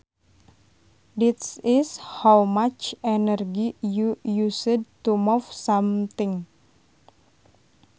This is how much energy you used to move something